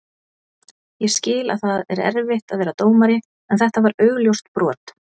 Ég skil að það er erfitt að vera dómari en þetta var augljóst brot.